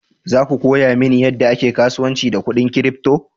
Za ku koya mani yadda ake kasuwanci da kudin crypto?